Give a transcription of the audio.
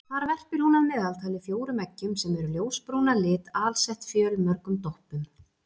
Þar verpir hún að meðaltali fjórum eggjum sem eru ljósbrún að lit alsett fjölmörgum doppum.